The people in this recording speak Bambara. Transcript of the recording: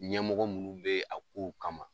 Ɲɛmɔgɔ minnu bɛ yen a kow kama.